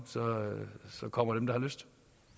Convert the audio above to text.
og så kommer dem der har lyst